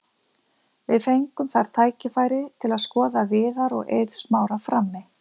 Við fengum þar tækifæri til að skoða Viðar og Eið Smára frammi.